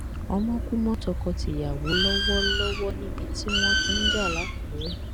ọmọ kú mọ tọkọtìyàwó lọwọ lọwọ níbi tí wọn ti ń ja lákùrẹ